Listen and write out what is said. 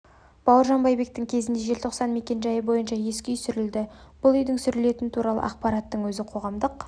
бауыржан байбектің кезінде желтоқсан мекенжайы бойынша ескі үй сүрілді бұл үйдің сүрілетіні туралы ақпараттың өзі қоғамдық